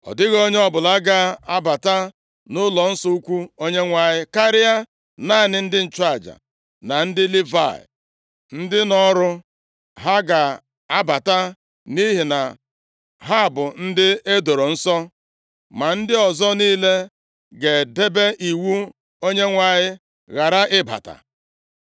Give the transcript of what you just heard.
Ọ dịghị onye ọbụla ga-abata nʼụlọnsọ ukwu Onyenwe anyị karịa naanị ndị nchụaja na ndị Livayị ndị nọ ọrụ, ha ga-abata nʼihi ha bụ ndị edoro nsọ, ma ndị ọzọ niile ga-edebe iwu Onyenwe anyị, ghara ịbata.